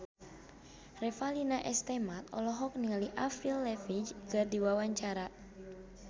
Revalina S. Temat olohok ningali Avril Lavigne keur diwawancara